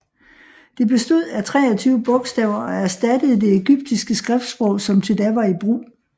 Det bestod af 23 bogstaver og erstattede det egyptiske skriftsprog som til da var i brug